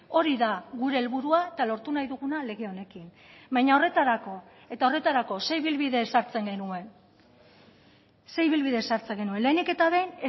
hori da gure helburua eta lortu nahi duguna lege honekin baina horretarako eta horretarako ze ibilbide ezartzen genuen ze ibilbide ezartzen genuen lehenik eta behin